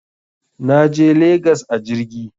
Naje legas a jirgi